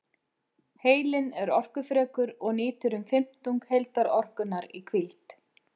Heilinn er orkufrekur og nýtir um fimmtung heildarorkunnar í hvíld.